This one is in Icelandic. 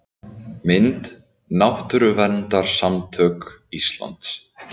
Mynd: Náttúruverndarsamtök Íslands